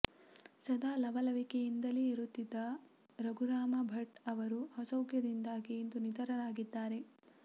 ಸದಾ ಲವಲವಿಕೆಯಿಂದಲೇ ಇರುತ್ತಿದ್ದ ರಘುರಾಮ ಭಟ್ ಅವರು ಅಸೌಖ್ಯದಿಂದಾಗಿ ಇಂದು ನಿಧನರಾಗಿದ್ದಾರೆ